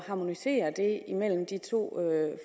at harmonisere de to